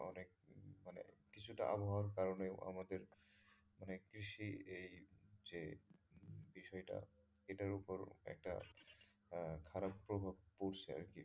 কিছুটা আবহাওয়ার কারনেও আমাদের মানে কৃষির এই যে বিষয় টা এটার ওপর একটা আহ খারাপ প্রভাব পড়ছে আরকি।